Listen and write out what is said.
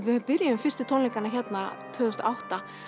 við byrjuðum fyrstu tónleikana hérna tvö þúsund og átta